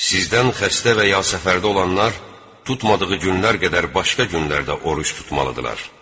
Sizdən xəstə və ya səfərdə olanlar tutmadığı günlər qədər başqa günlərdə oruc tutmalıdırlar.